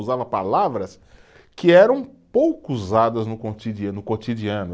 usava palavras que eram pouco usadas no, no cotidiano.